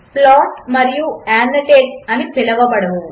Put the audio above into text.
plot మరియు annotate అని పిలువబడవు